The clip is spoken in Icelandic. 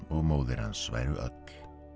móðir hans væru öll